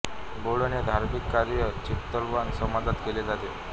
बोडण हे धार्मिक कार्य चित्पावन समाजात केले जाते